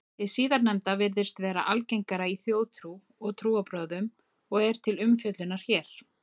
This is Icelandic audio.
Hið síðarnefnda virðist vera algengara í þjóðtrú og trúarbrögðum og er til umfjöllunar hér.